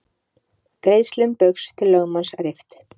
Greiðslum Baugs til lögmanns rift